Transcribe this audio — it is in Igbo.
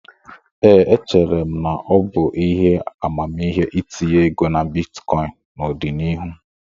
Ee, echere m na ọ bụ ihe amamihe itinye ego na bitkọịn n'ọdịnihu.